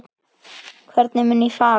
Hvernig mun ég fara?